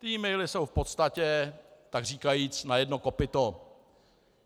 Ty e-maily jsou v podstatě takříkajíc na jedno kopyto.